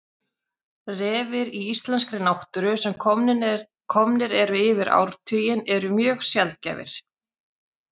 Refir í íslenskri náttúru sem komnir eru yfir áratuginn eru mjög sjaldgæfir.